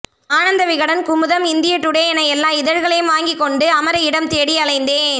ஆனந்தவிகடன் குமுதம் இந்தியடுடே என எல்லா இதழ்களையும் வாங்கிக் கொண்டு அமர இடம்தேடி அலைந்தேன்